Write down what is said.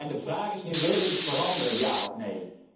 De vraag is nu willen wij iets veranderen, ja of nee?